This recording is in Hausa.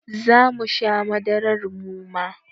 Zamu sha madarar muma